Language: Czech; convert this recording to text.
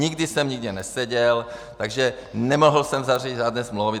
Nikdy jsem nikde neseděl, takže nemohl jsem zařídit žádné smlouvy.